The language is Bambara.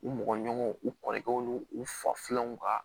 U mɔgɔ ɲɔgɔnw u kɔrɔkɛ u n'u u fafilanw ka